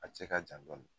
A cɛ ka jan dɔɔni